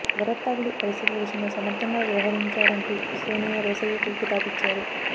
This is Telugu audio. వరద తాకిడి పరిస్థితుల విషయంలో సమర్థంగా వ్యవహరించారంటూ సోనియా రోశయ్యకు కితాబు ఇచ్చారు